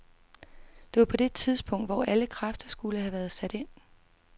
Det var på det tidspunkt, hvor alle kræfter skulle have været sat ind.